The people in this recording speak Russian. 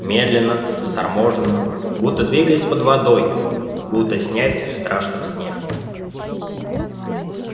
медленно заторможенно будто двигаясь под водой будто снясь в страшном сне